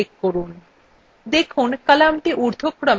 এখন ok button click করুন